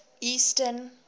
eastern